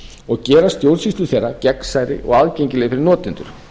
og gera stjórnsýslu þeirra gegnsærri og aðgengilegri fyrir notendur